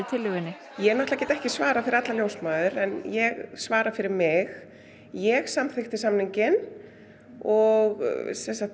tillögunni ég get ekki svarað fyrir allar ljósmæður en ég svara fyrir mig ég samþykkti samninginn og